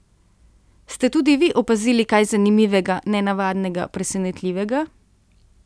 Ste tudi vi opazili kaj zanimivega, nenavadnega, presenetljivega?